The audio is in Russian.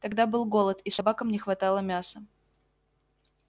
тогда был голод и собакам не хватало мяса